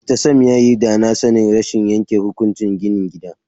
Mr Sam yayi danasanin rashin yanke hukunci gini gida.